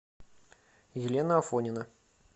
елена афонина